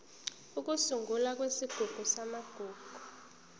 ukusungulwa kwesigungu samagugu